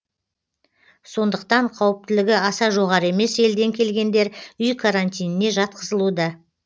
сондықтан қауіптілігі аса жоғары емес елден келгендер үй карантиніне жатқызылуда